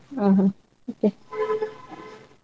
ಒಹೋ okay .